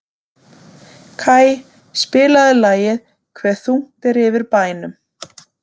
Kaj, spilaðu lagið „Hve þungt er yfir bænum“.